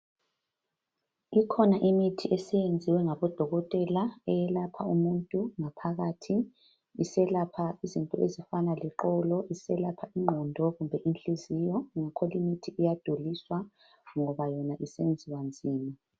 Kukhona imithi esiyenziwe ngabodokotela eyelapha umuntu ngaphakathi iselapha izifo ezifana leqolo iselapha ingqondo kumbe inhliziyo leyo mithi iyaduliswa ngoba isenziwa nzima